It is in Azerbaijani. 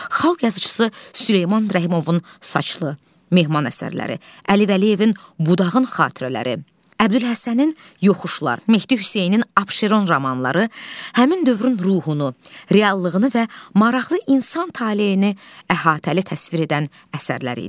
Xalq yazıçısı Süleyman Rəhimovun "Saçlı", "Mehmon" əsərləri, Əli Vəliyevin "Budağın xatirələri", Əbdülhəsənin "Yoxuşlar", Mehdi Hüseynin "Abşeron" romanları həmin dövrün ruhunu, reallığını və maraqlı insan taleyini əhatəli təsvir edən əsərlər idi.